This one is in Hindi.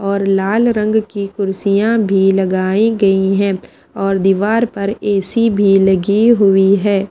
और लाल रंग की कुर्सियाँ भी लगाई गई हैं और दीवार पर ए_सी भी लगी हुई है।